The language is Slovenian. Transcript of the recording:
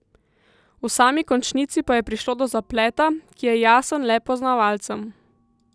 V sami končnici pa je prišlo do zapleta, ki je jasen le poznavalcem.